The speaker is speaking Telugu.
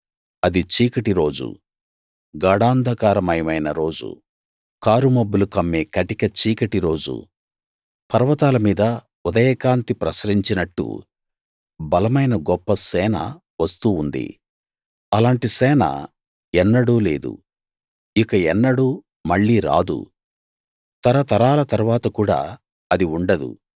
అది చీకటి రోజు గాఢాంధకారమయమైన రోజు కారు మబ్బులు కమ్మే కటిక చీకటి రోజు పర్వతాల మీద ఉదయకాంతి ప్రసరించినట్టు బలమైన గొప్ప సేన వస్తూ ఉంది అలాంటి సేన ఎన్నడూ లేదు ఇక ఎన్నడూ మళ్ళీ రాదు తరతరాల తరువాత కూడా అది ఉండదు